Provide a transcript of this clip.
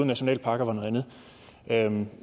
nationalparker var noget andet